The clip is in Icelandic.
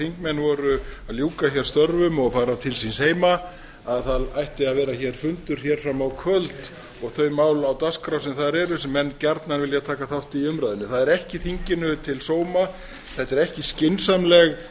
þingmenn voru að ljúka störfum og fara til síns heima að það ætti að vera fundur fram á kvöld og þau mál á dagskrá sem þar eru sem menn gjarnan vilja taka þátt í umræðunni það er ekki þinginu til sóma þetta er ekki skynsamleg